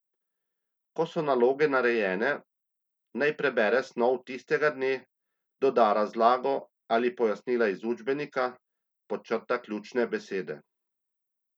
Ko so naloge narejene, naj prebere snov tistega dne, doda razlago ali pojasnila iz učbenika, podčrta ključne besede.